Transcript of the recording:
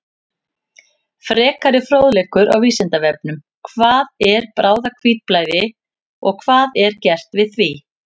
Frekari fróðleikur á Vísindavefnum: Hvað er bráðahvítblæði og hvað er gert við því?